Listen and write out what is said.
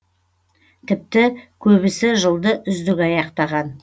тіпті көбісі жылды үздік аяқтаған